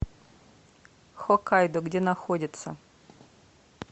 хоккайдо где находится